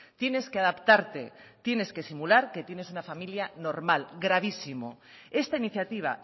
tienes que adaptarte tienes que simular que tienes una familia normal gravísimo esta iniciativa